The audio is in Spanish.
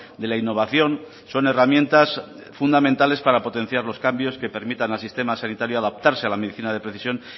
de la innovación son herramientas fundamentales para potenciar los cambios que permitan al sistema sanitario adaptarse a la medicina de precisión